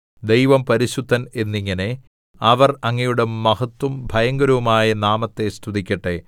ദൈവം പരിശുദ്ധൻ എന്നിങ്ങനെ അവർ അങ്ങയുടെ മഹത്തും ഭയങ്കരവുമായ നാമത്തെ സ്തുതിക്കട്ടെ